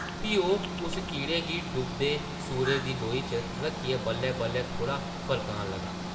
फ्ही ओह् उस कीड़े गी डुबदे सूरजै दी लोई च रक्खियै बल्लै-बल्लै थोह्ड़ा फरकान लगा ।